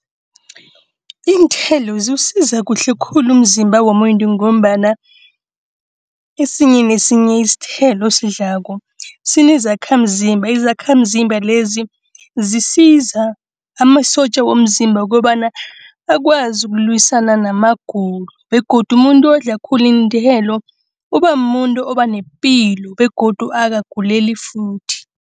Iinthelo ziwusiza kuhle khulu umzimba womuntu ngombana esinye nesinye isithelo osidlako sinezakhamzimba. Izakhamzimba lezi zisiza amasotja womzimba ukobana akwazi ukulwisana namagulo begodu umuntu odla khulu iinthelo uba mumuntu oba nepilo begodu akaguleli futhi.